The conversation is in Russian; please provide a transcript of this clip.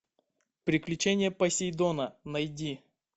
приключения посейдона найди